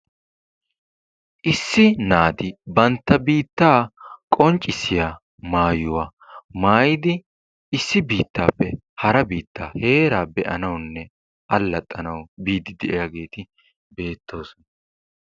Issi naati banta biittaa qonccissiya maayuwa maayidi issi biitaappe hara biittaa heeraa be'anawunne allaxanawu biidi de'iyaageeti beettoosona.